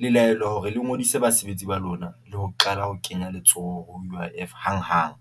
le laelwa hore le ngodise basebetsi ba lona le ho qala ho kenya letsoho U_I_F hang hang.